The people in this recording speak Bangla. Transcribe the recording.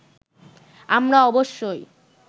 আমরা অবশ্যই